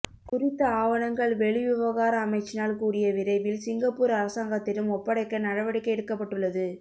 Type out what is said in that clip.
குறித்த ஆவணங்கள் வெளிவிவகார அமைச்சினால் கூடிய விரைவில் சிங்கப்பூர் அரசாங்கத்திடம் ஒப்படைக்க நடவடிக்கை எடுக்கப்பட்டுள்ளது